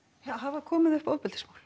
hafa komið upp ofbeldismál